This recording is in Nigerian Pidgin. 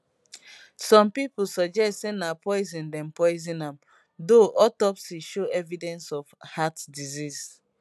some pipo suggest say na poison dem poison am though autopsy show evidence of heart disease